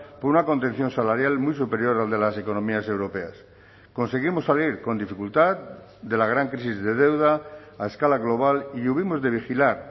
por una contención salarial muy superior al de las economías europeas conseguimos salir con dificultad de la gran crisis de deuda a escala global y hubimos de vigilar